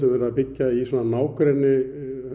verið að byggja í nágrenni